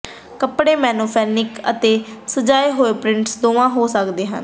ਕੱਪੜੇ ਮੋਨੋਫ਼ੋਨਿਕ ਅਤੇ ਸਜਾਏ ਹੋਏ ਪ੍ਰਿੰਟਸ ਦੋਵਾਂ ਹੋ ਸਕਦੇ ਹਨ